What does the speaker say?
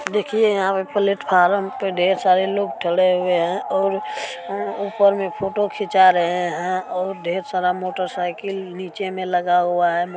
देखिए यहाँ पे प्लेटफॉर्म पे ढेर सारे लोग थड़े हुए हैं और ऊपर में फोटो खिंचा रहे हैं और ढेर सारा मोटर साइकिल नीचे में लगा हुआ हैं।